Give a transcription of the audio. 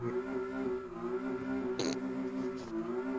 Já Hver er uppáhalds platan þín?